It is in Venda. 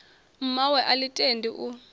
mmawe a ḽi tendi u